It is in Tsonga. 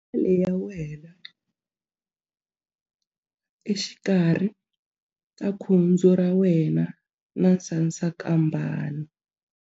Penisele ya wena exikarhi ka khudzu ra wena na sasankambana.